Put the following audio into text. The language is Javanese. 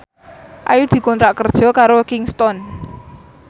Ayu dikontrak kerja karo Kingston